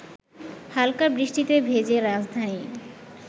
হালকা বৃষ্টিতে ভেজে রাজধানী